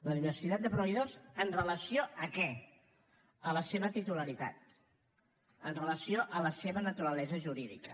la diversitat de proveïdors amb relació a què a la seva titularitat amb relació a la seva naturalesa jurídica